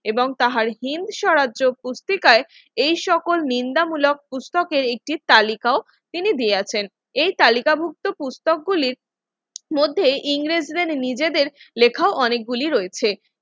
এবং তাহার্জিন সাহায্য পত্রিকায় এই সকল নিন্দা মূলক পুস্তকের একটি তালিকা তিনি দিয়েছেন এই কালিকাভুক্ত পুস্তক গুলির মধ্যে ইংরেজদের নিজেদের লেখা অনেকগুলি রয়েছে।